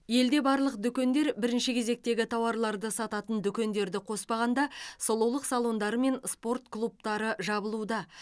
елде барлық дүкендер бірінші кезектегі тауарларды сатанын дүкендерді қоспағанда сұлулық салондары мен спорт клубтары жабылуда